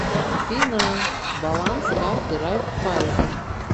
афина баланс карты райффайзен